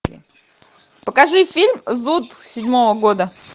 покажи фильм зуд седьмого года